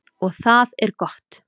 Og það er gott.